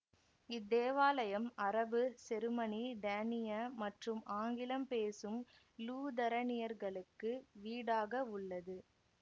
இத்தேவாலயம் அரபு செருமனி டேனிய மற்றும் ஆங்கிலம் பேசும் லூதரனியர்களுக்கு வீடாகவுள்ளது